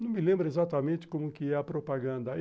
Não me lembro exatamente como que é a propaganda.